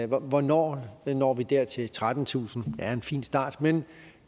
hvornår når vi dertil trettentusind er en fin start men